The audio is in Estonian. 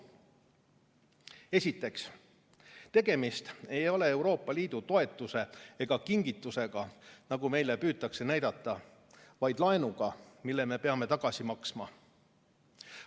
Esiteks, tegemist ei ole Euroopa Liidu toetuse ega kingitusega, nagu meile püütakse näidata, vaid laenuga, mille me peame tagasi maksma.